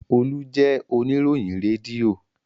Olú jẹ oníròyìn rédíò.